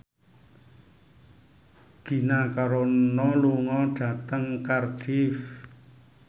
Gina Carano lunga dhateng Cardiff